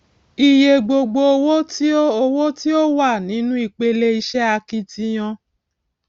iye gbogbo owó tí ó owó tí ó wà nínú ìpele iṣẹ akitiyan